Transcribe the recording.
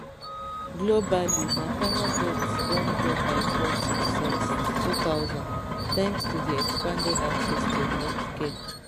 globally maternal deaths don drop by forty since 2000 thanks to di expanded access to healthcare